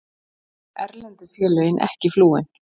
Erlendu félögin ekki flúin